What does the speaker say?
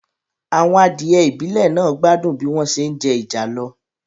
Àwọn adìẹ ìbílẹ̀ náà gbádùn bí wọ́n se jẹ ìjàlọ